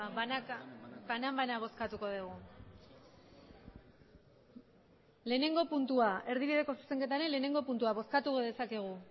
banan banan bozkatuko dugu erdibideko zuzenketaren batgarrena puntua bozkatu dezakegu